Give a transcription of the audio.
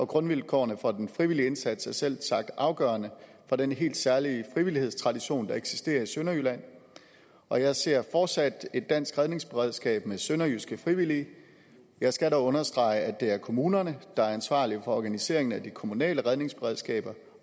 grundvilkårene for den frivillige indsats er selvsagt afgørende for denne helt særlige frivillighedstradition der eksisterer i sønderjylland og jeg ser fortsat et dansk redningsberedskab med sønderjyske frivillige jeg skal dog understrege at det er kommunerne der er ansvarlige for organiseringen af de kommunale redningsberedskaber